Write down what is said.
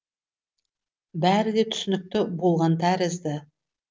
бәрі де түсінікті болған тәрізді